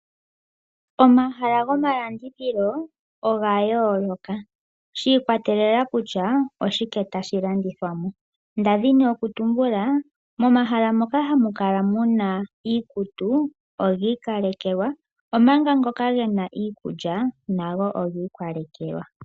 Omahala gomalandithilo oga yooloka shi' ikwatelela kusha oshike tashi landithwa mo. Nda dhini oku tumbula, momahala moka hamukala muna iikutu ogii kalekelwa, omanga ngoka gena iikulya, nago ogii kalekelwa.